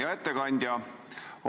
Hea ettekandja!